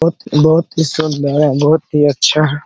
बहुत बहुत ही सुन्दर है बहुत ही अच्छा है।